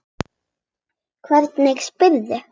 Hvernig spyrðu.